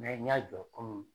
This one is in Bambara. n y'a jɔ komi